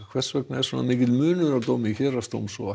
hvers vegna er svona mikill munur á dómi Héraðsdóms og